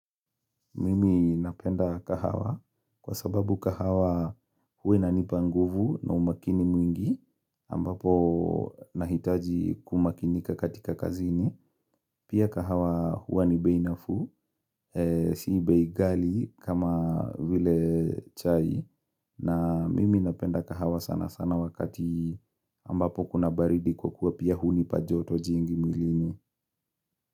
Mimi napenda kahawa kwa sababu kahawa huwa inanipanguvu na umakini mwingi ambapo nahitaji kuwa makini katika kazini. Pia kahawa huwa nibeinafuu, sibeighali kama vile chai na mimi napenda kahawa sana sana wakati ambapo kuna baridi kwa kuwa pia hunipajoto jingi mwilini.